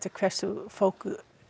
hversu fólk